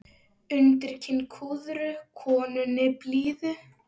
Undir kinn kúrðu konunni blíðu.